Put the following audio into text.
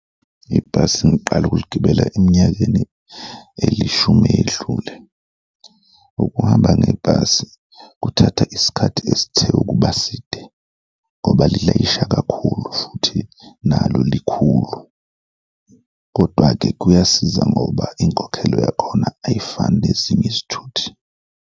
Ibhasi ngiqale ukuligibela eminyakeni eyishumi eyedlule. Ukuhamba ngebhasi kuthatha isikhathi esithe ukuba side ngoba lilayisha kakhulu futhi nalo likhulu kodwa-ke kuyasiza ngoba inkokhelo yakhona ayifani nezinye izithuthi.